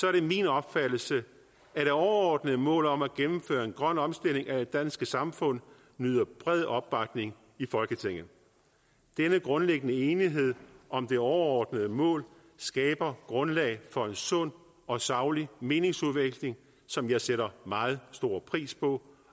er det min opfattelse at det overordnede mål om at gennemføre en grøn omstilling af det danske samfund nyder bred opbakning i folketinget denne grundlæggende enighed om det overordnede mål skaber grundlag for en sund og saglig meningsudveksling som jeg sætter meget stor pris på